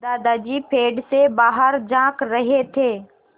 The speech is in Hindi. दादाजी पेड़ से बाहर झाँक रहे थे